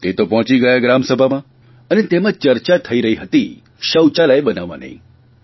તે તો પહોંચી ગયા ગ્રામસભામાં અને તેમાં ચર્ચા થઇ રહી હતી શૌચાલય બનાવવાની